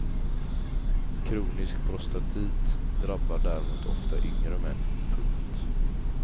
Kronisk prostatit drabbar däremot ofta yngre män. punkt